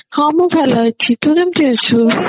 ହଁ ମୁଁ ଭଲ ଅଛି ତୁ କେମତି ଅଛୁ